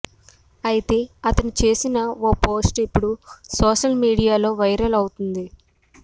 అయితే అతను చేసిన ఓ పోస్ట్ ఇప్పుడు సోషల్ మీడియాలో వైరల్ అవుతుంది